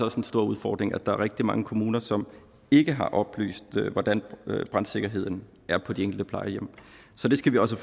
også en stor udfordring at der er rigtig mange kommuner som ikke har oplyst hvordan brandsikkerheden er på de enkelte plejehjem så det skal vi også